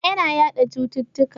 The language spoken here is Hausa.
Zina yana yaɗa cututtuka.